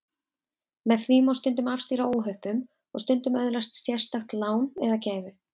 Með því má stundum afstýra óhöppum og stundum öðlast sérstakt lán eða gæfu.